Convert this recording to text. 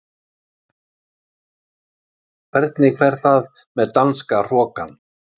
Hvernig fer það með danska hrokann?